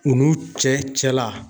U n'u cɛ cɛla.